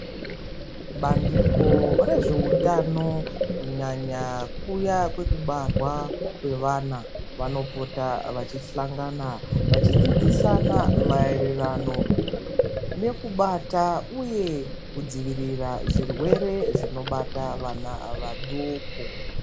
Bandiko rezveutano, kunyanya kuya kwekubarwa kwevana, vanopota vachis hlangana vachidzidzisana maererano nekubata uye kudzivirira zvirwere zvinobata vana vaduku.